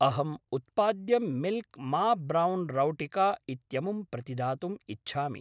अहम् उत्पाद्यं मिल्क् मा ब्रौन् रौटिका इत्यमुं प्रतिदातुम् इच्छामि।